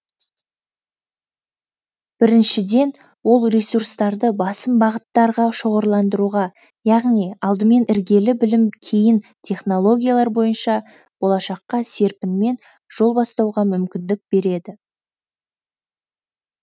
біріншіден ол ресурстарды басым бағыттарға шоғырландыруға яғни алдымен іргелі білім кейін технологиялар бойынша болашаққа серпінмен жол бастауға мүмкіндік береді